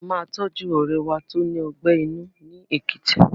A máa tọ́jú ọ̀rẹ́ wa tó ní ọgbẹ́ inú ni Èkìtì.